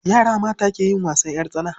Yara mata ke yin wasan ƴar tsana.